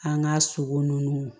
An ka sogo nunnu